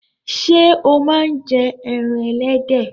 Sé o má n je ẹran ẹlẹ́dẹ̀